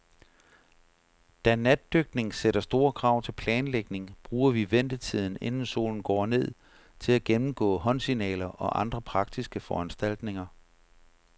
Da natdykning sætter store krav til planlægning, bruger vi ventetiden, inden solen går ned, til at gennemgå håndsignaler og andre praktiske foranstaltninger.